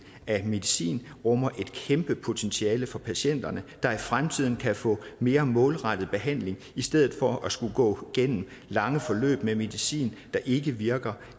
af medicin rummer et kæmpe potentiale for patienterne der i fremtiden kan få mere målrettet behandling i stedet for at skulle gå gennem lange forløb med medicin der ikke virker